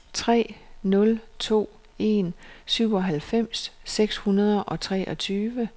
tre nul to en syvoghalvfems seks hundrede og treogtyve